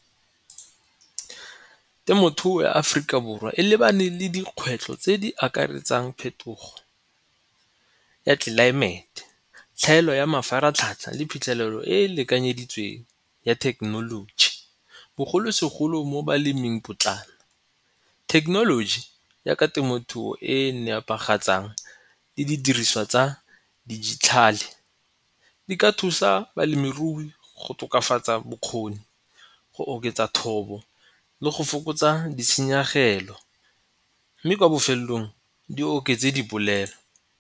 Temothuo ya Aforika Borwa e lebane le dikgwetlho tse di akaretsang phetogo ya tlelaemete, tlhaelo ya mafaratlhatlha le phitlhelelo e e lekanyeditsweng ya thekenoloji bogolosegolo mo baleming potlana. Thekenoloji ya ka temothuo e e nepagatsang le didiriswa tsa dijithale di ka thusa balemirui go tokafatsa bokgoni go oketsa thobo le go fokotsa ditshenyegelo mme kwa bofelong di oketse dipolelo.